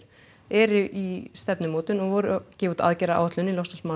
eru í stefnumótun og voru gefa út aðgerðaáætlun í